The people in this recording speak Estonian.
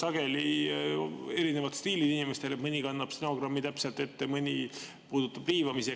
Sageli on inimestel erinevad stiilid, mõni kannab täpselt ette, mõni puudutab seda riivamisi.